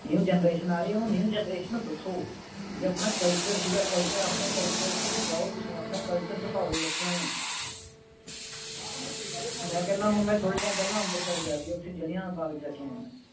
new generation ਆ ਰਹੀ ਹੈ ਆ ਰਹੀ ਹੈ new generation ਨੂੰ ਦੱਸੋ ਬਈ ਆਪਣਾ culture ਸੀਗਾ culture ਆਪਣੇ culture ਦੇ ਵਿੱਚ ਜਾਓ ਤੁਸੀਂ ਆਪਣੇ culture ਦਿਖਾਓ ਬੱਚਿਆਂ ਨੂੰ ਮੈਂ ਕਰਨਾ ਮੈਂ ਹੁਣ ਥੋੜੇ ਟਾਈਮ ਪਹਿਲਾਂ ਅੰਬਰਸਰ ਗਿਆ ਸੀਗਾ ਉੱਥੇ ਜਲਿਆਂਵਾਲੇ ਬਾਗ ਜਾ ਕੇ ਆਇਆ ਹਾਂ